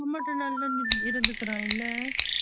நீ மட்டும்தா இருந்த இருந்துக்குரான்ல ?